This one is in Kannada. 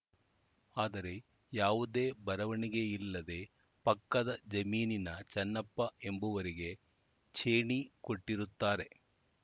ಆದರೆ ಯಾವುದೇ ಬರವಣಿಗೆ ಇಲ್ಲದೇ ಪಕ್ಕದ ಜಮೀನಿನ ಚನ್ನಪ್ಪ ಎಂಬುವರಿಗೆ ಚೇಣಿ ಕೊಟ್ಟಿರುತ್ತಾರೆ